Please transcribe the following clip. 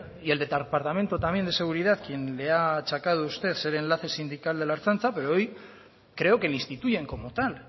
y el departamento también de seguridad quien le ha achacado usted ser enlace sindical de la ertzaintza pero hoy creo que le instituyen como tal